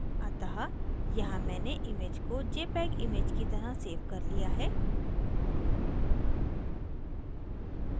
अतः यहाँ मैंने इस image को jpeg image की तरह so कर लिया है